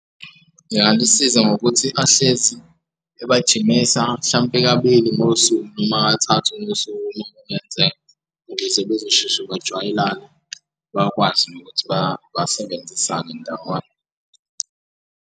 Ngingamusiza ngokuthi ahlezi ebajimisa mhlampe kabili ngosuku noma kathathu ngosuku uma kwenzeka ukuze bezosheshe bajwayelane bakwazi nokuthi basebenzisane ndawonye.